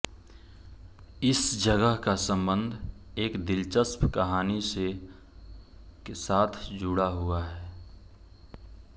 इस जगह का सम्बन्ध एक दिलचस्प कहानी के साथ जुड़ा हुआ है